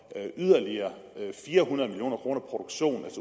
yderligere fire hundrede million kroner produktion